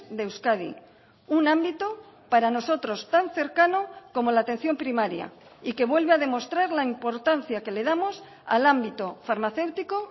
de euskadi un ámbito para nosotros tan cercano como la atención primaria y que vuelve a demostrar la importancia que le damos al ámbito farmacéutico